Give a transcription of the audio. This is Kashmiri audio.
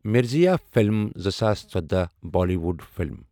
مِرزیا فِلِم زٕساس ژٔۄداہ بالِیوُڈ فِلم